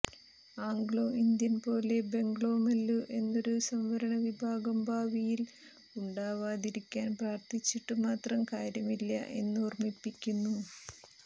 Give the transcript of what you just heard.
Anglo Indian പോലെ ബംഗ്ലോമല്ലു എന്നൊരു സംവരണ വിഭാഗം ഭാവിയിൽ ഉണ്ടാവാതിരിക്കാൻ പ്രാർത്ഥിച്ചിട്ടു മാത്രം കാര്യമില്ല എന്നോർമ്മിപ്പിക്കുന്നു